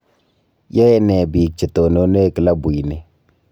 Yae ne biik che tonone klabuini